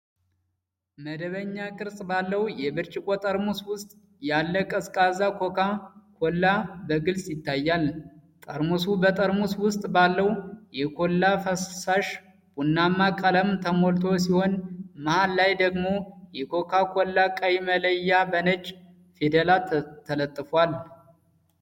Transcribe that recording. መደበኛ ቅርፅ ባለው የብርጭቆ ጠርሙስ ውስጥ ያለ ቀዝቃዛ ኮካ ኮላ በግልጽ ይታያል። ጠርሙሱ በጠርሙስ ውስጥ ባለው የኮላ ፈሳሽ ቡናማ ቀለም ተሞልቶ ሲሆን፣ መሃል ላይ ደግሞ የኮካ ኮላ ቀይ መለያ በነጭ ፊደላት ተለጥፏል።